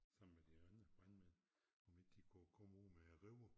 Sammen med de andre brandmænd om ikke de kunne komme ud med river